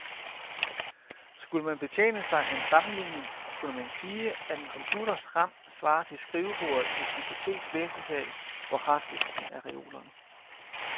Skulle man betjene sig af en sammenligning kunne man sige, at en computers ram svarer til skrivebordet i et biblioteks læsesal, hvor harddisken er reolerne.